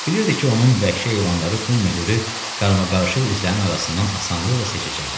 Biliridi ki, onun vəhşi heyvanları bu möhürü qarmaqarışıq izlərin arasından asanlıqla seçəcəklər.